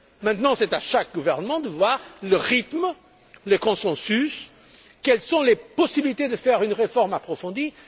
Maintenant, c'est à chaque gouvernement de déterminer le rythme, le consensus, et les possibilités de faire une réforme approfondie.